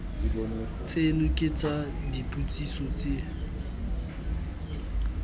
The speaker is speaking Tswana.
tseno ke tsa dipotsiso tse